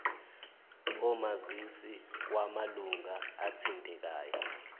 omazisi wamalunga athintekayo